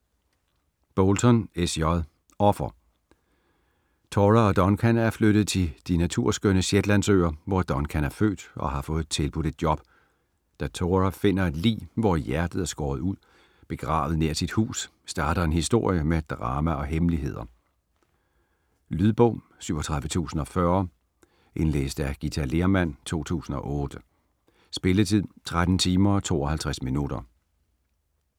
Bolton, S. J.: Offer Tora og Duncan er flyttet til de naturskønne Shetlandsøer, hvor Duncan er født og har fået tilbudt et job. Da Tora finder et lig, hvor hjertet er skåret ud, begravet nær sit hus, starter en historie med drama og hemmeligheder. Lydbog 37040 Indlæst af Githa Lehrmann, 2008. Spilletid: 13 timer, 52 minutter.